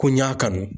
Ko n y'a kanu